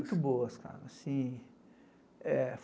Muito boas, cara.